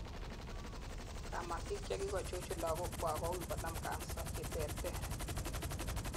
kamatik chekikochuchun lagokwak koui konam cancers cheterter